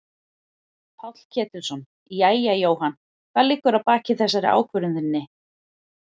Páll Ketilsson: Jæja Jóhann hvað liggur að baki þessari ákvörðun þinni?